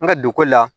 N ka dugu la